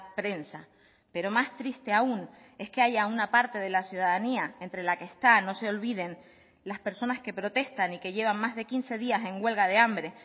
prensa pero más triste aún es que haya una parte de la ciudadanía entre la que está no se olviden las personas que protestan y que llevan más de quince días en huelga de hambre